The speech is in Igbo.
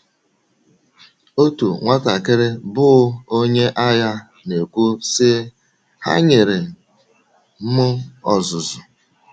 Otu nwatakịrị bụ́ onye agha na - ekwu, sị: “ Ha nyere m ọzụzụ.